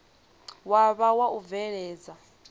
wa vha wa u bveledza